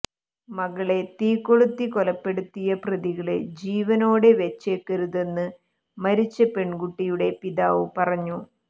മകളെ തീകൊളുത്തി കൊലപ്പെടുത്തിയ പ്രതികളെ ജീവനോടെ വച്ചേക്കരുതെന്ന് മരിച്ച പെണ്കുട്ടിയുടെ പിതാവ് പറഞ്ഞു